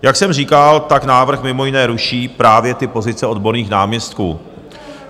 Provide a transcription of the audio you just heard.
Jak jsem říkal, tak návrh mimo jiné ruší právě ty pozice odborných náměstků.